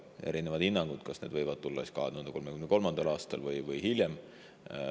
On erinevaid hinnanguid, kas need võivad tulla 2033. aastal või hiljem.